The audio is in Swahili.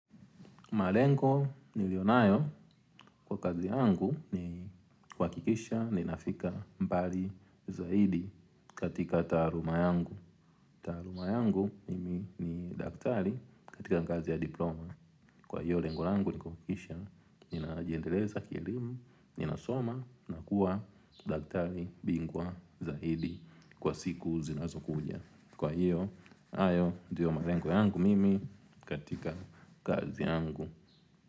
Malengo niliyo nayo kwa kazi yangu ni kuhakikisha ninafika mbali zaidi katika taaluma yangu. Taaluma yangu mimi ni daktari katika ngazi ya diploma. Kwa hiyo, lengo langu ni kuhakikisha, ninajiendeleza kielimu, ninasoma, na kuwa daktari bingwa zaidi kwa siku zinazokuja. Kwa hiyo, hayo ndiyo malengo yangu mimi katika kazi yangu.